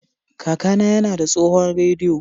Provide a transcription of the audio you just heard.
Kakana yana da tsohon rediyo.